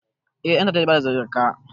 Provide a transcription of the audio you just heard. Eh ɗantata zai bada zakka